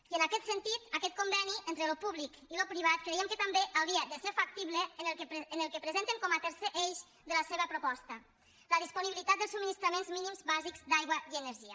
i en aquest sentit aquest conveni entre el públic i el privat creiem que també hauria de ser factible en el que presenten com a tercer eix de la seva proposta la disponibilitat dels subministraments mínims bàsics d’aigua i energia